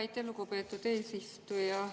Aitäh, lugupeetud eesistuja!